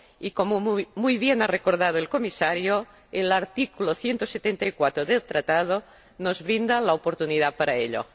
Y, como muy bien ha recordado el Comisario, el artículo 174 del Tratado nos brinda la oportunidad de hacerlo.